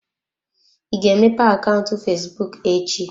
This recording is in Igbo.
Ị ga-emepe akaụntụ fesbụụk echi?